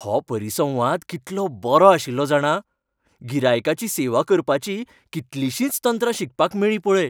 हो परिसंवाद कितलो बरो आशिल्लो जाणा, गिरायकाची सेवा करपाचीं कितलिशींच तंत्रां शिकपाक मेळ्ळीं पळय.